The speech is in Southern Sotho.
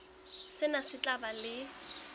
sena se tla ba le